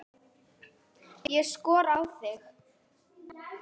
Ég skora á þig!